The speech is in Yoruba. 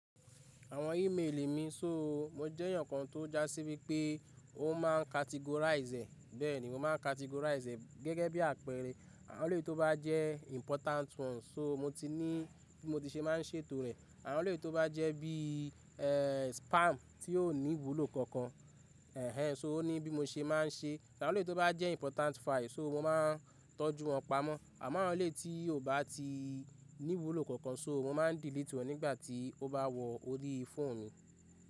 Àwọn email mi, sóò mo jẹ́ èèyàn kan tó já sí wípé ó ma categorise. Bẹ́ẹ̀ni, mo ma categorise gẹ́gẹ́ bí àpẹẹrẹ. Àwọn eleyii tó bá jẹ́ important ones, sóò mo ti ní bí mo ti se ma ń ṣe ètò rẹ̀. Àwọn eleyii tó bá jẹ́ bí i, ẹ́ẹ́, spam tí ó ní ìwúlò kankan, ẹ̀ẹ́ sóò ó ní bí mo ṣe máa n ṣe. Àwọn eleyi tó bá jẹ́ important files, sóò mo ma tọ́jú wọn pamọ́. Àmọ́ àwọn éleyii tí kò bá ti ní ìwúlò kankan, sóò mo ma delete wọ́n nígbà tí ó bá wọ orí fóònù mi.